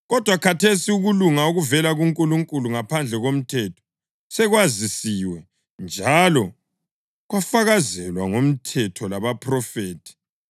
Kodwa khathesi ukulunga okuvela kuNkulunkulu, ngaphandle komthetho, sekwazisiwe, njalo kwafakazelwa nguMthetho labaphrofethi.